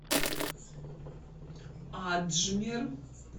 аджмер